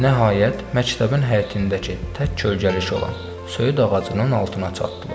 Nəhayət, məktəbin həyətindəki tək kölgəlik olan söyüd ağacının altına çatdılar.